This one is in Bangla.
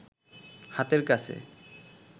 হাতের কাছে